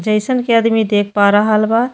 जइसन कि आदमी देख पा रहल बा।